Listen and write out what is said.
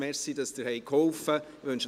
Danke, dass Sie geholfen haben.